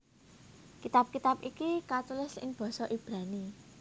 Kitab kitab iki katulis ing basa Ibrani